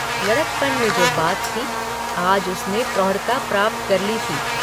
लड़कपन में जो बात थी आज उसने प्रौढ़ता प्राप्त कर ली थी।